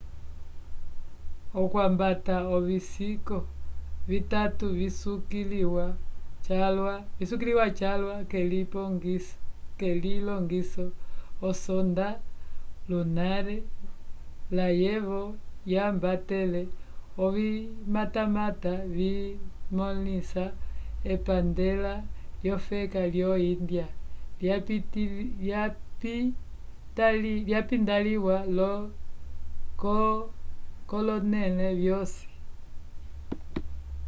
okwambata ovisiko vitatu visukiliwa calwa k'elilongiso osonda lunar layevo yambatele ovimatamata vimõlisa epandela lyofeka lyo-índia lyapintaliwa kolonẽle vyosi